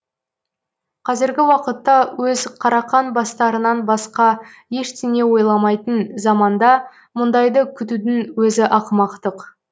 қазіргі уақытта өз қарақан бастарынан басқа ештеңе ойламайтын заманда мұндайды күтудің өзі ақымақтық